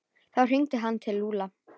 Þá hringdi hann til Lúlla.